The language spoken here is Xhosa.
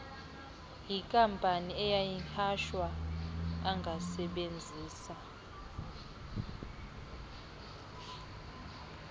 likabani liyanyhashwa angasebenzisa